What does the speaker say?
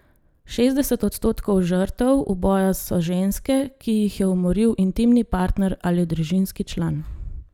Šestdeset odstotkov žrtev uboja so ženske, ki jih je umoril intimni partner ali družinski član.